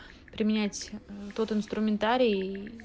применять тот инструментарий